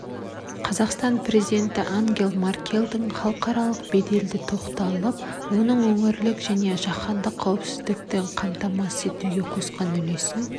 қазақстан президенті ангела меркельдің халықаралық беделіне тоқталып оның өңірлік және жаһандық қауіпсіздікті қамтамасыз етуге қосқан үлесін